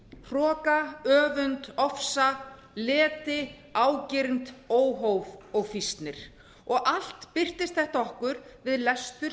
hroka öfund ofsa leti ágirnd óhóf og fýsnir og allt birtist þetta okkur við lestur